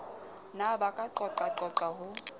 ne ba ka qoqaqoqa ho